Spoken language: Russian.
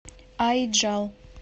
аиджал